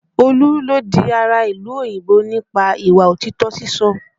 Olú ló di ará ìlú òyìnbó nípa ìwà òtítọ́ sísọ